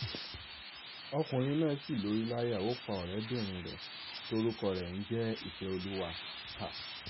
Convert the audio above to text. ọkùnrin náà sì lórí láyà ó pa ọ̀rẹ́bìnrin rẹ̀ tórúkọ rẹ̀ ń jẹ́ ìfẹ́ọ́lúwà